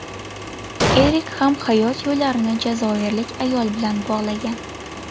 Erik ham hayot yo‘llarini jazoirlik ayol bilan bog‘lagan.